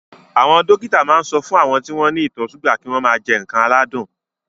Àwọn dókítà ma ń sọ fún àwọn tí wọ́n ní ìtọ̀ súgà kí wọ́n mà jẹ ǹkan aládùn